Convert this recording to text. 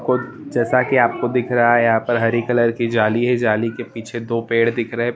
जैसा की आपको दिख रहा है यहाँ पर हरी कलर की जाली है जाली की पीछे दो पेड़ दिख रहे--